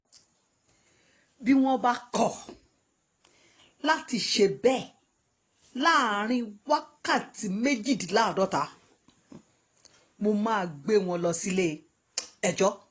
bí wọ́n bá kọ̀ láti ṣe bẹ́ẹ̀ láàrin wákàtí méjìdínláàádọ́ta mo máa gbé wọn lọ sílé-ẹjọ́